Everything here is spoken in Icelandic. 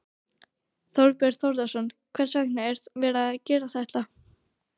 Þorbjörn Þórðarson: Hvers vegna er verið að gera þetta?